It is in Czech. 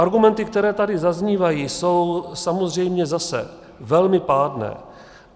Argumenty, které tady zaznívají, jsou samozřejmě zase velmi pádné.